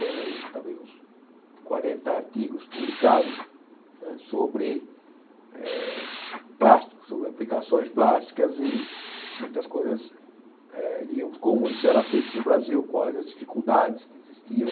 Tenho aí talvez uns quarenta artigos publicados não é sobre eh plásticos sobre aplicações plásticas e muitas coisas, eh digamos, como isso era feito no Brasil, quais as dificuldades que existiam.